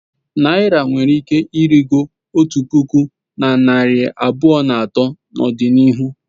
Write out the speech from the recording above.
Naira nwere ike ịrịgo otu puku na narị abụọ na atọ n'ọdịnihu.